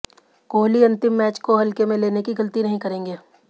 कोहली अंतिम मैच को हल्के में लेने की गलती नहीं करेंगे